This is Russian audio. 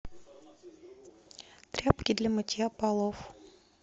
тряпки для мытья полов